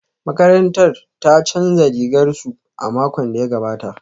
Makarantar ta canza rigar su a makon da ya gabata